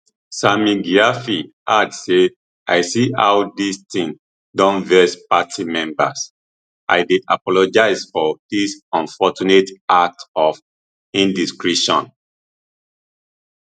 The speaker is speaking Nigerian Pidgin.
sammy gyamfi add say i see how dis tin don vex party members i dey apologise for dis unfortunate act of indiscretion